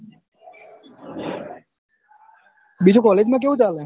બીજું college માં કેવું ચાલ